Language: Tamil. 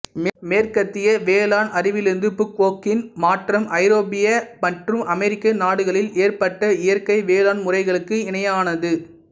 மேற்கத்திய வேளாண் அறிவியலிலிருந்து புக்குவோக்காவின் மாற்றம் ஐரோப்பிய மற்றும் அமெரிக்க நாடுகளில் ஏற்பட்ட இயற்கை வேளாண் முறைகளுக்கு இணையானது